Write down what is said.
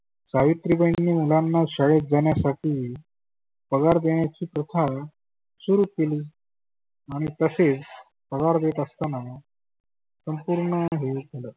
सावित्रीबाईंनी मुलांना शाळेत जाण्यासाठी पगार देण्याची प्रथा सुरु केली. आणि तसेच पगार देत असताना. संपुर्ण हे